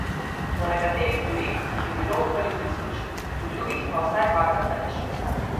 Po nekaterih virih jih je bilo okoli tisoč, po drugih pa vsaj dvakrat več.